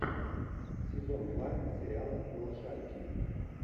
сезон два сериала малышарики